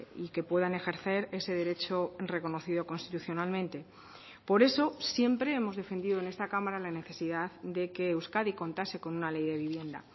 y que puedan ejercer ese derecho reconocido constitucionalmente por eso siempre hemos defendido en esta cámara la necesidad de que euskadi contase con una ley de vivienda